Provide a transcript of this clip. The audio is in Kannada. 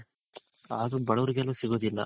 ಆದ್ರು ಬಡವ್ರಿಗೆಲ್ಲು ಸಿಗೋದಿಲ್ಲ